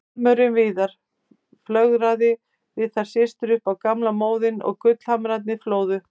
Sjarmörinn Viðar, flörtaði við þær systur upp á gamla móðinn og gullhamrarnir flóðu.